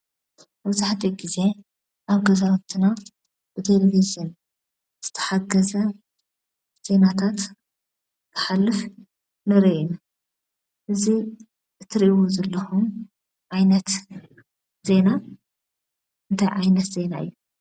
መብዛሕቲኡ ግዜ ኣብ ገዛዉትና ብቴሌቭዥን ዝተሓገዘ ዜናታት ክሐልፍ ንርኢ ኢና። እዚ እትርእይዎ ዘለኹም ዓይነት ዜና እንታይ ዓይነት ዜና እዩ?